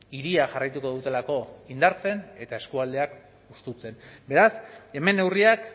hiriak jarraituko dutelako indartzen eta eskualdeak hustutzen beraz hemen neurriak